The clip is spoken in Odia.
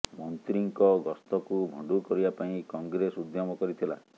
ମନ୍ତ୍ରୀଙ୍କ ଗସ୍ତକୁ ଭଣ୍ଡୁର କରିବା ପାଇଁ କଂଗ୍ରେସ ଉଦ୍ୟମ କରିଥିଲା